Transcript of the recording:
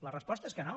la resposta és que no